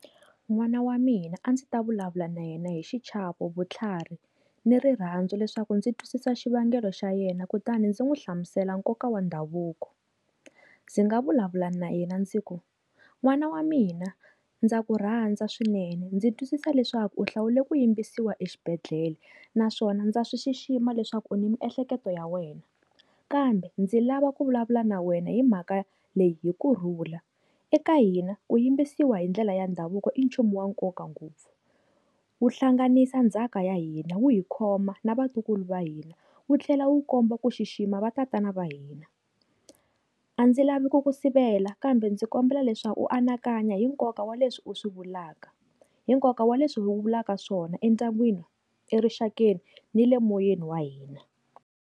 N'wana wa mina a ndzi ta vulavula na yena hi xichavo, vutlhari ni rirhandzu leswaku ndzi twisisa xivangelo xa yena, kutani ndzi n'wi hlamusela nkoka wa ndhavuko. Ndzi nga vulavula na yena ndzi ku n'wana wa mina ndza ku rhandza swinene, ndzi twisisa leswaku u hlawula ku yimbisiwa exibedhlele naswona ndza swi xixima leswaku u ni mi ehleketo ya wena, kambe ndzi lava ku vulavula na wena hi mhaka leyi hi kurhula eka hina ku yimbisiwa hindlela ya ndhavuko i nchumu wa nkoka ngopfu. Wu hlanganisa ndzhaka ya hina, wu hi khoma na vatukulu va hina, wu tlhela wu komba ku xixima va tatana va hina. A ndzi lavi ku ku sivela kambe ndzi kombela leswaku u anakanya hi nkoka wa leswi u swi vulaka, hi nkoka wa leswi vulaka swona endyangwini erixakeni ni le moyeni wa hina.